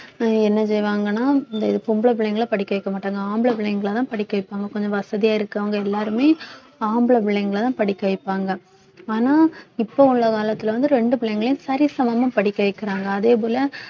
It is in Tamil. என்ன செய்வாங்கன்னா இந்த பொம்பள பிள்ளைங்களை படிக்க வைக்க மாட்டாங்க ஆம்பளை பிள்ளைங்களைதான் படிக்க வைப்பாங்க கொஞ்சம் வசதியா இருக்கவங்க எல்லாருமே ஆம்பளை பிள்ளைங்களைதான் படிக்க வைப்பாங்க ஆனா இப்ப உள்ள காலத்துல வந்து ரெண்டு பிள்ளைங்களையும் சரிசமமா படிக்க வைக்கிறாங்க அதே போல